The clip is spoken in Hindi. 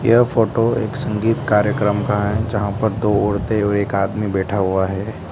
क्या फोटो एक संगीत कार्यक्रम का है जहां पर दो औरतें और एक आदमी बैठा हुआ है।